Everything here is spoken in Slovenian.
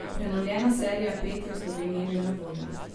Prenovljena serija pet je v Sloveniji že na voljo.